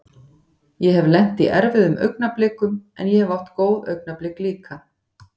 Ég hef lent í erfiðum augnablikum en ég hef átt góð augnablik líka.